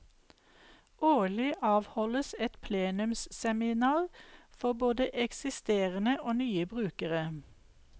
Årlig avholdes et plenumsseminar for både eksisterende og nye brukere.